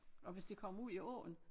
Og hvis det kommer ud i åen